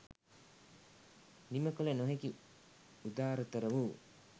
නිම කළ නොහැකි උදාරතර වූ